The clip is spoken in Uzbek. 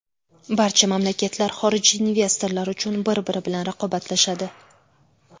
Barcha mamlakatlar xorijiy investorlar uchun bir-biri bilan raqobatlashadi.